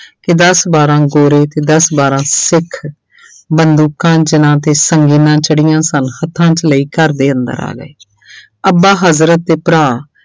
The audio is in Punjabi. ਕਿ ਦਸ ਬਾਰਾਂ ਗੋਰੇ ਤੇ ਦਸ ਬਾਰਾਂ ਸਿੱਖ ਬੰਦੂਕਾਂ ਤੇ ਜਿਹੜੀਆਂ ਸਨ ਹੱਥਾਂ 'ਚ ਲਈ ਘਰਦੇ ਅੰਦਰ ਆ ਗਏੇ ਅੱਬਾ ਹਜ਼ਰਤ ਤੇ ਭਰਾ